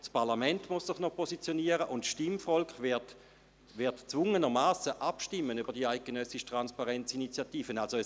Das Parlament muss sich noch positionieren, und das Stimmvolk wird gezwungenermassen über die eidgenössische «Transparenz-Initiative» abstimmen.